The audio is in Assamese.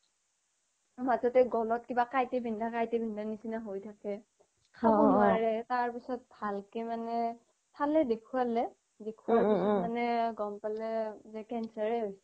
মাজতে কিবা গলত কাঁইটে বিন্ধা কাঁইটে বিন্ধা নিছিনা হৈ থাকে খাব নোৱাৰে তাৰ পিছত ভালকে মানে চালে দেখুৱালে মানে গম পালে মানে যে কেঞ্চাৰে হৈছে